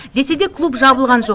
десе де клуб жабылған жоқ